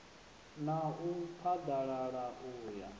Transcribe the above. na u phaḓalala u ya